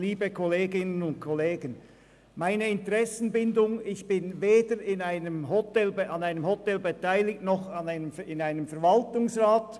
Zu meiner Interessenbindung: Ich bin weder an einem Hotel beteiligt, noch bin ich in einem Verwaltungsrat.